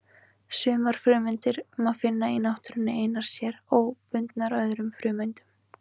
Sumar frumeindir má finna í náttúrunni einar sér, óbundnar öðrum frumeindum.